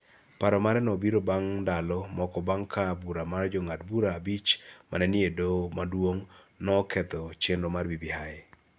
Paro mare nobiro bang� ndalo moko bang� ka bura mar Jong'ad bura abich ma ne ni e doho maduong�no noketho chenro mar BBI.